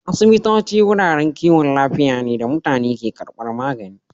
Asibitoci wuraren kiwon lafiya ne da mutane ke karbar magani